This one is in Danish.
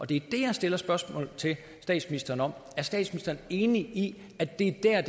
det jeg stiller spørgsmål til statsministeren om er statsministeren enig i at det er